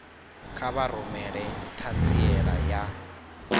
kha vha rumele ṱhanziela ya